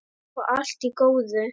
Og allt í góðu.